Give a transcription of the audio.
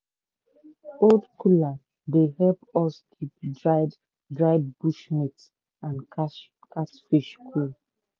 old cooler dey help us keep dried dried bush meat and cat catfish cool.